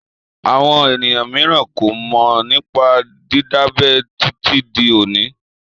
Àwọn ènìyàn mìíràn kò mọ̀ nípa dídábẹ títí di òní.